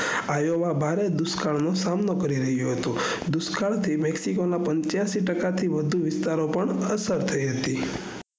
આવીઓ એવા ભારે દુષ્કાળ નો સામનો કરિયો હતો દુકાળ થી maxico પંચ્યાસી ટકા થી વઘુ પર અસર થઈ છે